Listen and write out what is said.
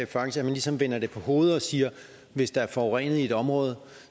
faktisk vender det på hovedet og siger at hvis der er forurenet i et område